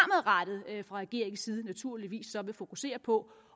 regeringens side naturligvis vil fokusere på